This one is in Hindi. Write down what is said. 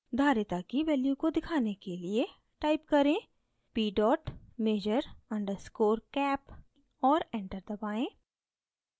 धारिता capacitance की value को दिखाने के लिए type करें: p measure _ cap और enter दबाएँ